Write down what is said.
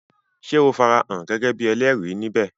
Sé o farahàn gẹ́gẹ́ bíi ẹlẹ́rìí ní bè?